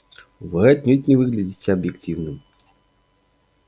вы отнюдь не выглядите объективным